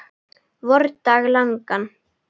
vordag langan.